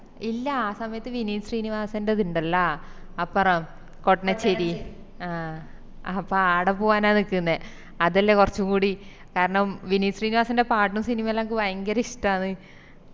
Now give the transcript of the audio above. ഇല്ലാ ആ സമയത്ത് വിനീത് ശ്രീനിവാസന്റെത് ഇണ്ടല്ലാ അപ്പറം കോഡ്നാച്ചേരിൽ ആ അപ്പൊ ആട പോവാനാണ് നിക്കുന്നെ അതല്ലേ കൊറച്ചും കൂടി കാരണം വിനീത് ശ്രീനിവാസന്റെ പാട്ടും സിനിമയെല്ലാം എനക്ക് ഭയങ്കര ഇഷ്ട്ടാണ്